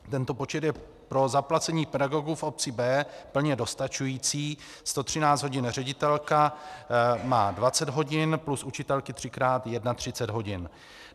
Tento počet je pro zaplacení pedagogů v obci B plně dostačující, 113 hodin, ředitelka má 20 hodin, plus učitelky třikrát 31 hodin.